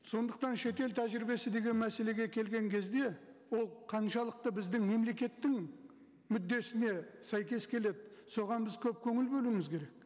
сондықтан шетел тәжірибесі деген мәселеге келген кезде ол қаншалықты біздің мемлекеттің мүддесіне сәйкес келеді соған біз көп көңіл бөлуіміз керек